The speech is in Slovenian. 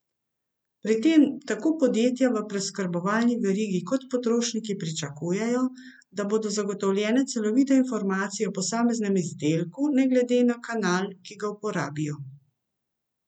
Pri tem tako podjetja v preskrbovalni verigi kot potrošniki pričakujejo, da bodo zagotovljene celovite informacije o posameznem izdelku ne glede na kanal, ki ga uporabijo.